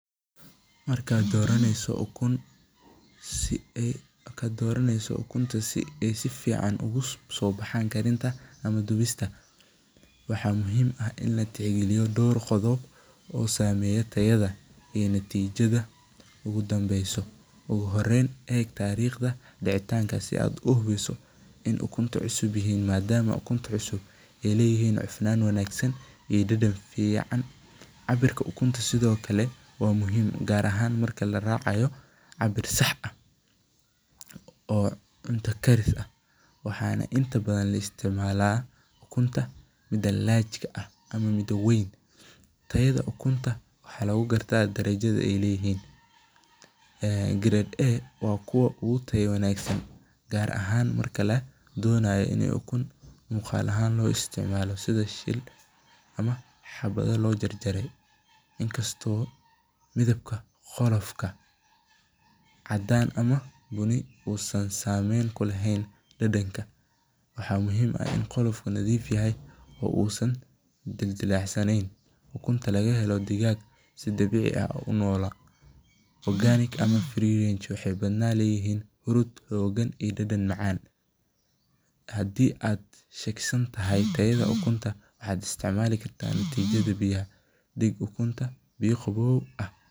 Markaad doraneyso ukunta si aay si fican oogu so baxaan dubista, oogu horeen hubi tariiqda dacitaanka, cabirka ukunta sido kale waa muhiim, waxaa la isticmaala ukunta mida large ama weyn, waa kuwa ugu tayo wanagsan, in kasto midabka qolofka uusan sameyn kuleheen dadanka, waxaay badanaan leeyihiin dadan macaan, waxaad isticmaali kartaa biyaha dig ukunta biya qaboow.